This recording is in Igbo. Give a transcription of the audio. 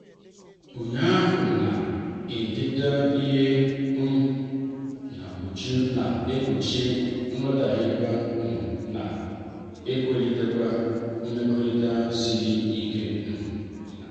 ụnyaahụ kụzirim na-idetu ihe um n'uju na- egbochi nghotaghie um na ewulitekwa mmekota sịrị um ike.